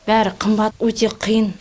бәрі қымбат өте қиын